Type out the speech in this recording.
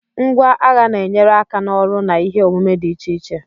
Ngwá agha na-enyere aka n'ọrụ na ihe omume dị iche iche.